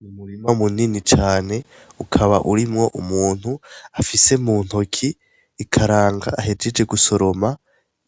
N'umurima munini cane ukaba urimwo umuntu afise muntoki ikaranga ahejeje gusoroma;